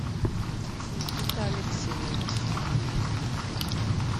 никита алексеевич